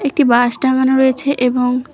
একটি বাঁশ টাঙানো রয়েছে এবং--